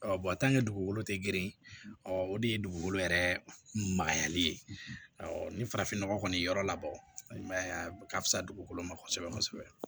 dugukolo tɛ grin o de ye dugukolo yɛrɛ magayali ye ni farafin nɔgɔ kɔni ye yɔrɔ labɔ i ma ye a ka fisa dugukolo ma kosɛbɛ kosɛbɛ